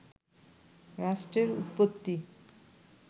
রাষ্ট্রের উৎপত্তি